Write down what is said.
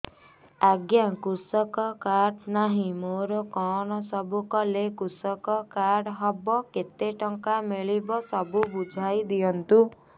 ଆଜ୍ଞା କୃଷକ କାର୍ଡ ନାହିଁ ମୋର କଣ ସବୁ କଲେ କୃଷକ କାର୍ଡ ହବ କେତେ ଟଙ୍କା ମିଳିବ ସବୁ ବୁଝାଇଦିଅନ୍ତୁ